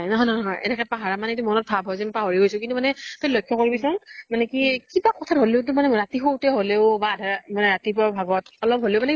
নহয় নহয় নহয় এনেকে পাহৰা মানে, এনেকে মনত ভাব হয় যেন পাহৰি গৈছো, কিন্তু মানে তই লক্ষ কৰিবি চোন । মানে কি কিবা কথা ত হলেও, ৰাতি শু তেও হলেও বা আধা ৰা বা ৰাতিপুৱা ভাগতঅলপ হলেও মানে